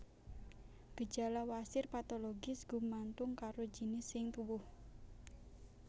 Gejala wasir patologis gumantung karo jinis sing tuwuh